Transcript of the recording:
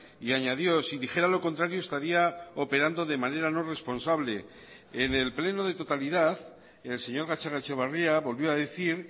y añadió si dijera lo contrario estaría operando de manera no responsable en el pleno de totalidad el señor gatzagaetxebarria volvió a decir